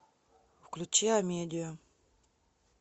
включи амедиа